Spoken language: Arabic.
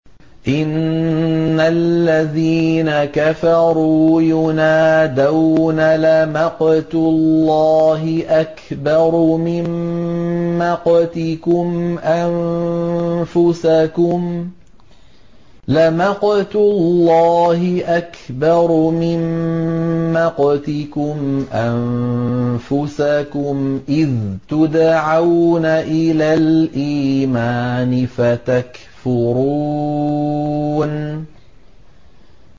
إِنَّ الَّذِينَ كَفَرُوا يُنَادَوْنَ لَمَقْتُ اللَّهِ أَكْبَرُ مِن مَّقْتِكُمْ أَنفُسَكُمْ إِذْ تُدْعَوْنَ إِلَى الْإِيمَانِ فَتَكْفُرُونَ